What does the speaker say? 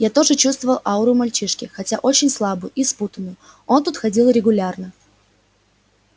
я тоже чувствовал ауру мальчишки хотя очень слабую и спутанную он тут ходил регулярно